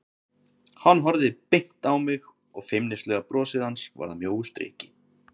Hann horfði beint á mig og feimnislega brosið hans varð að mjóu striki.